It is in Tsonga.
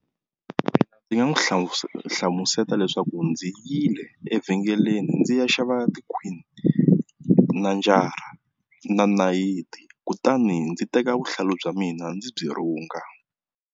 Ndzi nga n'wi hlamuseta leswaku ndzi yile evhengeleni ndzi ya xava tikhwini na tinjara na nayiti kutani ndzi teka vuhlalu bya mina ndzi byi rhunga.